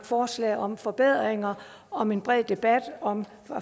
forslag om forbedringer om en bred debat og om